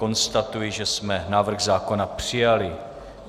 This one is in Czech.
Konstatuji, že jsme návrh zákona přijali.